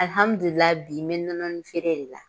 bi me nɔnɔnin feere de la.